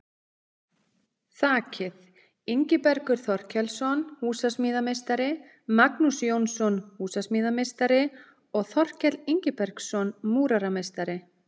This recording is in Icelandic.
Þakið: Ingibergur Þorkelsson, húsasmíðameistari, Magnús Jónsson, húsasmíðameistari og Þorkell Ingibergsson, múrarameistari.